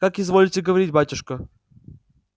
как изволите говорить батюшка